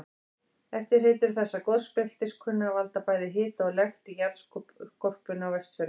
Eftirhreytur þessa gosbeltis kunna að valda bæði hita og lekt í jarðskorpunni á Vestfjörðum.